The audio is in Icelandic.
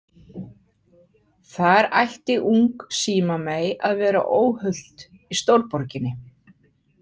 Þar ætti ung símamey að vera óhult í stórborginni.